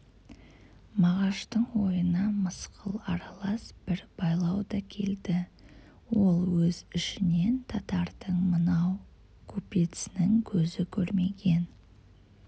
мағаштың ойына мысқыл аралас бір байлау да келді ол өз ішінен татардың мынау купецінің көзі көрмеген